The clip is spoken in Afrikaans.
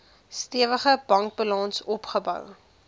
stewige bankbalans opgebou